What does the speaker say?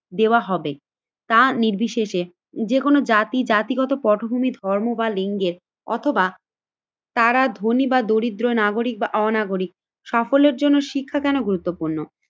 দেওয়া হবে। তা নির্বিশেষে যেকোনো জাতি জাতিগত পটভূমি ধর্ম বা লিঙ্গের অথবা তারা ধনী বা দরিদ্র নাগরিক বা অনাগরিক। সাফল্যের জন্য শিক্ষা কেন গুরুত্বপূর্ণ?